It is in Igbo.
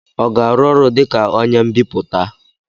ọ ga-arụ ọrụ dị ka onye mbipụta?